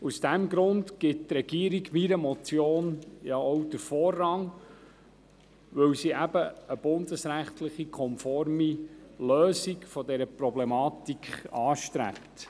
Aus diesem Grund gibt die Regierung meiner Motion ja auch den Vorzug, weil sie eine bundesrechtskonforme Lösung dieser Problematik anstrebt.